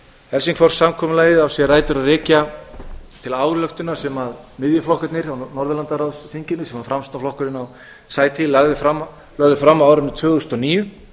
helsingfors samkomulagið á sér rætur að rekja til ályktunar sem miðjuflokkarnir á norðurlandaráðsþinginu sem framsóknarflokkurinn á sæti í lögðu fram á árinu tvö þúsund og níu